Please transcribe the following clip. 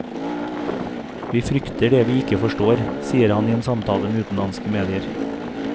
Vi frykter det vi ikke forstår, sier han i en samtale med utenlandske medier.